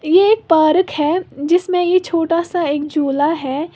ये एक पार्क है जिसमें ये छोटा सा एक झूला है।